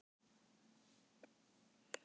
Myndun og mótun lands- Jarðfræði.